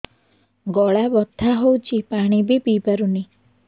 ଗଳା ବଥା ହଉଚି ପାଣି ବି ପିଇ ପାରୁନି